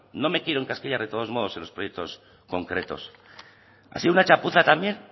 no me quiero encasquillar de todos modos en los proyectos concretos ha sido una chapuza también